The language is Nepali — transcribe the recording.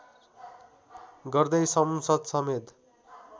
गर्दै संसद समेत